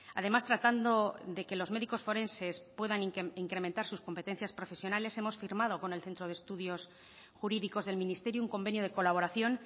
además tratando de que los médicos forenses puedan incrementar sus competencias profesionales hemos firmado con el centro de estudios jurídicos del ministerio un convenio de colaboración